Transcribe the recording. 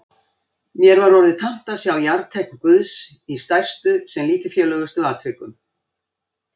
Mér var orðið tamt að sjá jarteikn Guðs í stærstu sem lítilfjörlegustu atvikum.